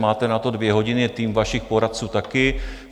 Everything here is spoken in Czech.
Máte na to dvě hodiny, tým vašich poradců také.